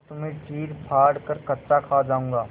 और तुम्हें चीरफाड़ कर कच्चा खा जाऊँगा